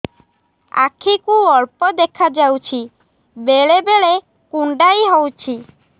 ଆଖି କୁ ଅଳ୍ପ ଦେଖା ଯାଉଛି ବେଳେ ବେଳେ କୁଣ୍ଡାଇ ହଉଛି